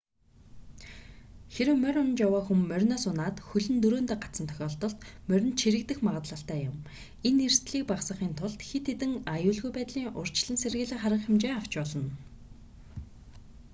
хэрэв морь унаж яваа хүн мориноос унаад хөл нь дөрөөндөө гацсан тохиолдолд моринд чирэгдэх магдлалтай юм энэ эрсдэлийг багасгахын тулд хэд хэдэн аюулгүй байдлын урьдчилан сэргийлэх арга хэмжээ авч болно